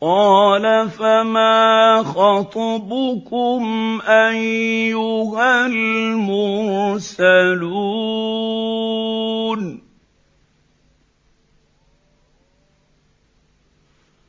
قَالَ فَمَا خَطْبُكُمْ أَيُّهَا الْمُرْسَلُونَ